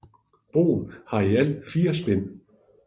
Broen har i alt fire spænd